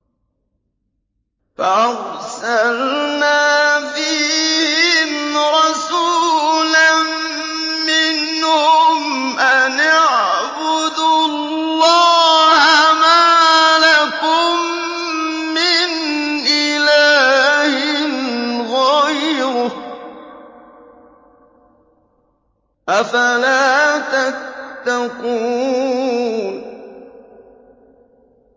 فَأَرْسَلْنَا فِيهِمْ رَسُولًا مِّنْهُمْ أَنِ اعْبُدُوا اللَّهَ مَا لَكُم مِّنْ إِلَٰهٍ غَيْرُهُ ۖ أَفَلَا تَتَّقُونَ